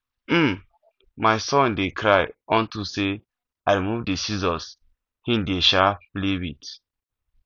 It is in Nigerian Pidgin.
um my son dey cry unto say i remove the scissors he dey um play with